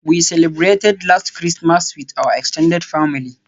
We celebrated last Christmas with our extended family.